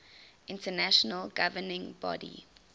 international governing body